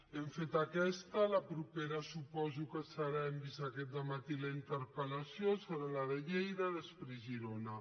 hem fet aquesta la propera suposo que serà hem vist aquest matí la interpella de lleida després girona